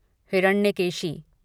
Hiranyakeshi